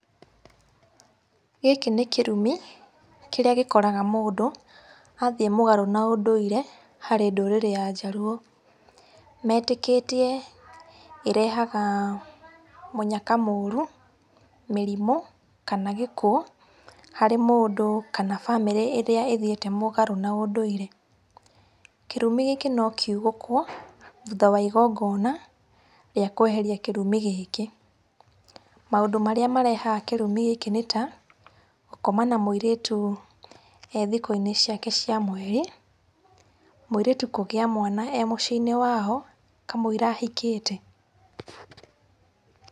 Gĩkĩ nĩ kĩrumi kĩrĩa gĩkoraga mũndũ athiĩ mũgarũ na ũndũire harĩ ndũrĩrĩ ya njaruo. Metĩkĩtie ĩrehaga mũnyaka mũrũ, mĩrimũ kana gĩkuo harĩ mũndũ kana bamĩrĩ ĩrĩa ĩthiĩte mũgarũ na ũndũire. Kĩrumi gĩkĩ no kiugũkwo, thutha wa igongona rĩa kũeheria kĩrumi gĩkĩ. Maundũ marĩa marehaga kĩrumi gĩkĩ nĩ ta, gũkoma na mũirĩtu e thikũ-inĩ ciake cia mweri, mũirĩtu kũgĩa mwana e mũciĩ-inĩ wao kamũira ahikĩte.